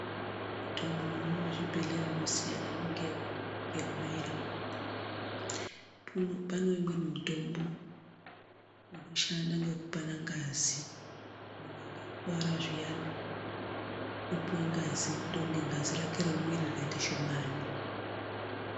Mutombo muzvibhehlera inosiyana, imwe ndeyekumwa imwe ndeyekubaira. Panewo imweni mitombo inoshanda ngekupana ngazi. Munhu akakuwara zviyani, unopuwe ngazi ndokunge ngazi rake remwiri rikaite shomani.